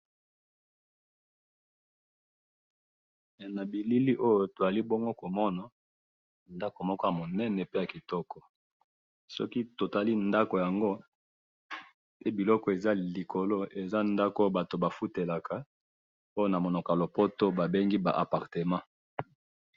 Awa to moni ndako kitoko, ba appartement batu bafutelaka.